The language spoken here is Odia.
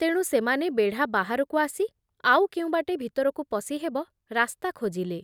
ତେଣୁ ସେମାନେ ବେଢ଼ା ବାହାରକୁ ଆସି ଆଉ କେଉଁ ବାଟେ ଭିତରକୁ ପଶି ହେବ ରାସ୍ତା ଖୋଜିଲେ ।